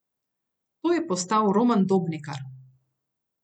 To je postal Roman Dobnikar.